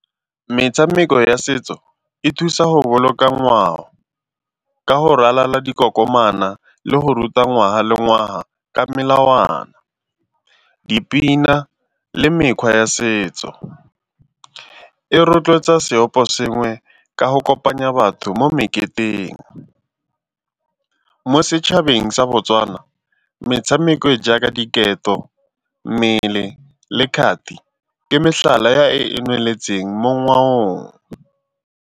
Metshameko ya setso e thusa go boloka ngwao ka go ralala dikokomana le go ruta ngwaga le ngwaga ka melawana, dipina le mekgwa ya setso. E rotloetsa seoposengwe ka go kopanya batho mo meketeng. Mo setšhabeng sa Botswana metshameko e jaaka diketo, mmele le kgati ke mehlala ya e e nweletseng mo ngwaong.